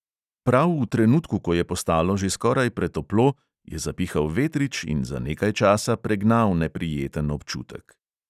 Prav v trenutku, ko je postalo že skoraj pretoplo, je zapihal vetrič in za nekaj časa pregnal neprijeten občutek.